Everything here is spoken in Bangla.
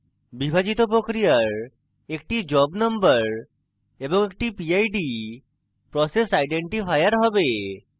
বিভাজিত প্রক্রিয়ার একটি job number এবং একটি pid process আইডেন্টিফায়ার have